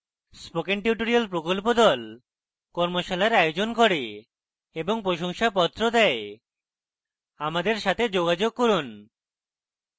spoken tutorial প্রকল্প the কর্মশালার আয়োজন করে এবং প্রশংসাপত্র the আমাদের সাথে যোগাযোগ করুন